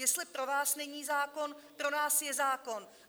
Jestli pro vás není zákon, pro nás je zákon!